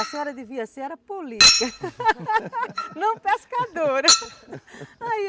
A senhora devia ser política não pescadora.